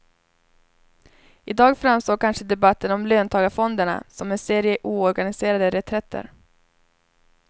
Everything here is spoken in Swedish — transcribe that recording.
I dag framstår kanske debatten om löntagarfonderna som en serie oorganiserade reträtter.